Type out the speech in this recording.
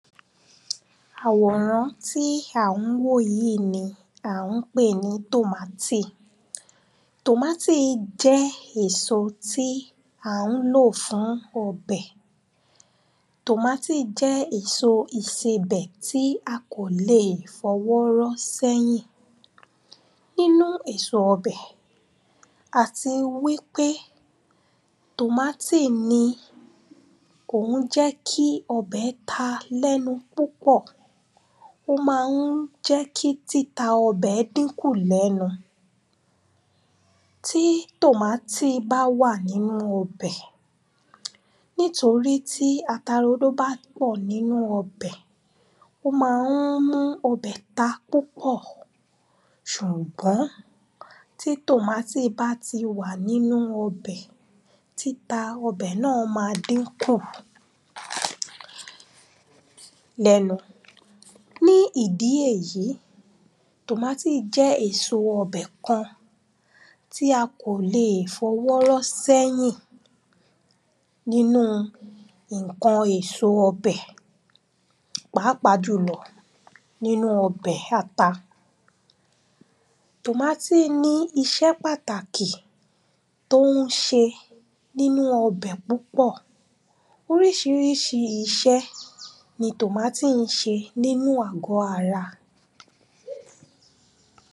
àwòrán tí à ń wò yí ni à ń pè ní tòmátì tòmátì jẹ́ èso tí à ń lò fún ọbẹ̀, tómátì jẹ́ èso ìsebẹ̀ tí a kò lè fọwọ́ rọ́ sẹ́yìn nínu èso ọbẹ̀ àti wípé tòmátì ni kò ń jẹ́ kí ọbẹ̀ ta lẹ́nu púpọ̀, ó ma ń jẹ́ kí títa ọbẹ̀ dínkù lẹ́nu. tí tòmátì bá wà nínu ọbẹ̀, nítorí tí ata rodo bá pọ̀ nínu ọbẹ̀, ó ma ń mú ọbẹ̀ ta púpọ̀ ṣùgbọ́n, tí tòmátì bá ti wà nínu ọbẹ̀, títa ọbẹ̀ náà máa dínkù lẹ́nu. ní id̀í èyí, tómátì jẹ́ èso ọbẹ̀ kan tí a kò lè fọwọ́ rọ́ sẹ́yìn nínu ǹkan èso ọbẹ̀ pàápàá jùlọ nínu ọbẹ̀ ata tòmátì ní iṣẹ́ pàtàkì tó ń ṣe nínu ọbẹ̀ púpọ̀, oríṣiríṣi iṣẹ́ ni tòmátì ń ṣe nínu àgọ ara.